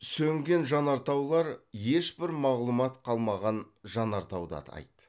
сөнген жанартаулар ешбір мағлұмат қалмаған жанартауды атайды